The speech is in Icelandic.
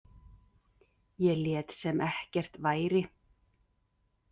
Ég lét sem ekkert væri.